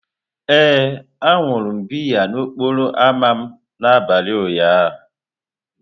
Ee, aṅụrụ m biya n'okporo ámá m n'abalị ụnyaahụ.